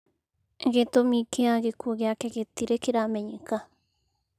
Gĩtũmi kĩa gĩkuũ gĩake gĩtirĩ kĩramenyeka.